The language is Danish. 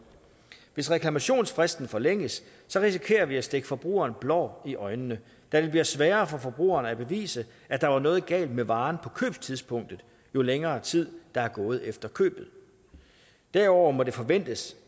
hvis reklamationsfristen forlænges risikerer vi at stikke forbrugeren blår i øjnene da det bliver sværere for forbrugeren at bevise at der er noget galt med varen på købstidspunktet jo længere tid der er gået efter købet derudover må det forventes